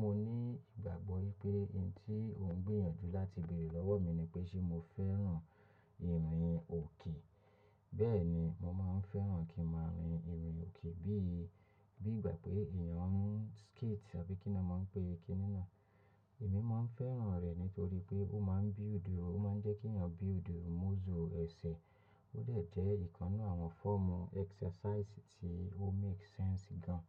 Mo ní ìgbàgbọ́ pé ohun tí ó ń gbéyànjú láti bèrè lọ́wọ́ mi ni pé ṣé mo fẹ́ràn ìrìn òkè. Bẹ́ẹ̀ ni, mo máa ń fẹ́ràn kí mo rin ìrìn òkè bí, bí ìgbà pé èèyàn ń skate àbí kí ni wọ́n ń pè é, kí ni náà. Èmi máa ń fẹ́ràn rẹ̀ nítorí pé ó máa ń build, ó máa ń jẹ́ kí èèyàn build muscle, ẹsẹ̀. Ó dẹ̀ jẹ́ ìkan ninu àwọn fọ́ọ̀mù exercise tí ó make sense gan,